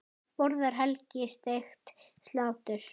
Borðar Helgi steikt slátur?